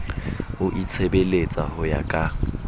o itshebeletsa ho ya ka